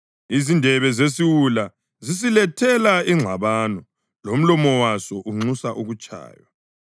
Izindebe zesiwula zisilethela ingxabano, lomlomo waso unxusa ukutshaywa.